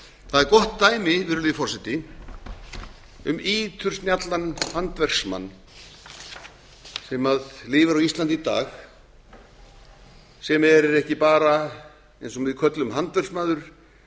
það er gott dæmi virðulegi forseti um ítursnjallan handverksmann sem lifir á íslandi í dag sem er ekki bara eins og við köllum handverksmaður